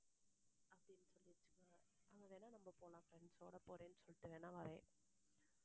அங்க வேணா நம்ம போலாம் friends ஓட போறேன்னு சொல்லிட்டு வேணா வரேன்